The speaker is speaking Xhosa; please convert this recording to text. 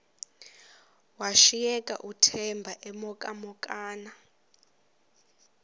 washiyeka uthemba emhokamhokana